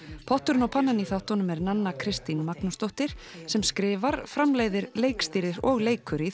potturinn og pannan í þáttunum er Nanna Kristín Magnúsdóttir sem skrifar framleiðir leikstýrir og leikur í